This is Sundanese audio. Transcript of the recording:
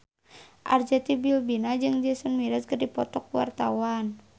Arzetti Bilbina jeung Jason Mraz keur dipoto ku wartawan